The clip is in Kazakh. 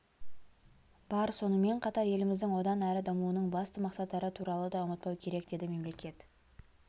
бар сонымен қатар еліміздің одан әрі дамуының басты мақсаттары туралы да ұмытпау керек деді мемлекет